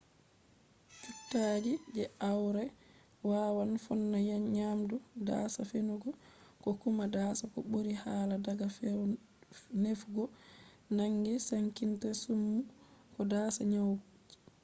cuttaji je aure wawan fonna nyamdu dasa nefugo ko kuma dasa ko ɓuri hala daga nefugo nangi sankita summu ko dasa nyauji